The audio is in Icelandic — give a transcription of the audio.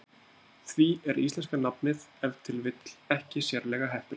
Því er íslenska nafnið ef til vill ekki sérlega heppilegt.